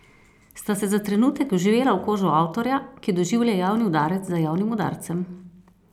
Sta se za trenutek vživela v kožo avtorja, ki doživlja javni udarec za javnim udarcem?